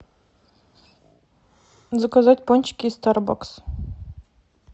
заказать пончики из стар бакс